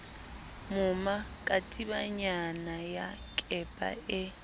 moma katibanyana ya kepa e